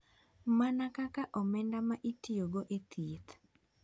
Mana kaka omenda ma itiyogo e thieth.